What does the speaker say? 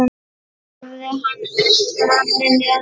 Hafði hann elt manninn eða?